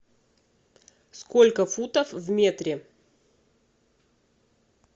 сколько футов в метре